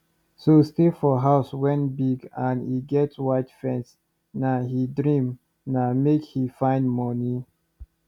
so stay for house wen big and e get white fence na he dream na make he find mkney